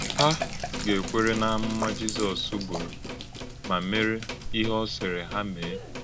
Hà gà-èkwèrè n’ámụ́mà Jìzọs bùrù mà mèrè íhè ọ sịrị hà mèe?